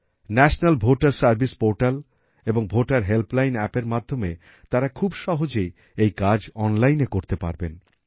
national ভোটের service portal এবং voter helpline অ্যাপেরএর মাধ্যমে তারা খুব সহজেই এই কাজ অনলাইনে করতে পারবেন